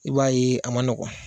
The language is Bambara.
I b'a ye a man nɔgɔn